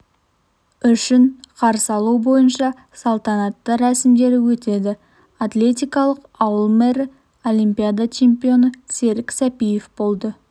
үшін қарсы алу бойынша салтанатты рәсімдері өтеді атлетикалық ауыл мэрі олимпиада чемпионы серік сәпиев болды